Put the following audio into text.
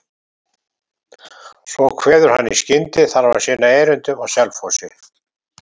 Svo kveður hann í skyndi, þarf að sinna erindum á Selfossi.